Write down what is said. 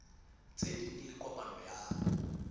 tse ding le kopano ya